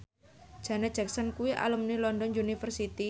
Janet Jackson kuwi alumni London University